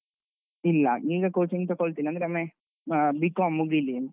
ಇಲ್ಲ, ಈಗ coaching ತೆಕೊಳ್ತಿಲ್ಲ. ಅಂದ್ರೆ ಒಮ್ಮೆ ಆ B.Com ಮುಗಿಲಿ.